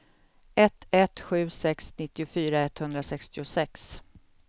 ett ett sju sex nittiofyra etthundrasextiosex